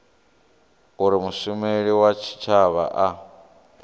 uri mushumeli wa tshitshavha a